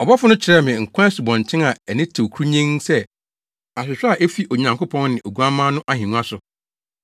Ɔbɔfo no kyerɛɛ me nkwa asubɔnten a ani tew kurunnyenn sɛ ahwehwɛ a efi Onyankopɔn ne Oguamma no ahengua so,